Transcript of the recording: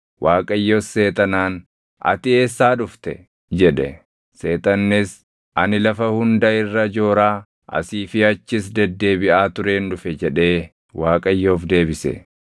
Waaqayyos seexanaan, “Ati Eessaa dhufte?” jedhe. Seexannis, “Ani lafa hunda irra jooraa, asii fi achis deddeebiʼaa tureen dhufe” jedhee Waaqayyoof deebise.